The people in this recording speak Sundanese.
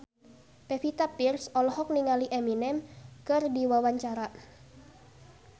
Pevita Pearce olohok ningali Eminem keur diwawancara